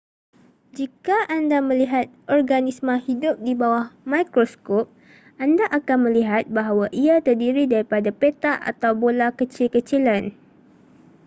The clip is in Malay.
jika anda melihat organisma hidup di bawah mikroskop anda akan melihat bahawa ia terdiri daripada petak atau bola kecil-kecilan